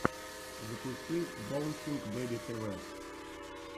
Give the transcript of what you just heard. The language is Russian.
запусти боунсинг бэби тэ вэ